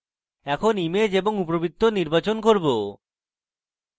এখন image এবং উপবৃত্ত নির্বাচন করুন